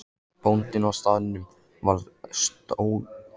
Bóndinn á staðnum stóð álengdar og fylgdist með í örvæntingu.